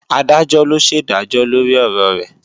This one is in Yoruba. Adájọ́ ló ṣèdájọ́ lórí ọ̀rọ̀ rẹ̀